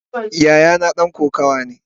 Yayana dan kokawa ne.